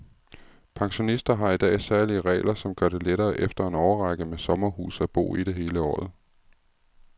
Pensionister har i dag særlige regler, som gør det lettere efter en årrække med sommerhus at bo i det hele året.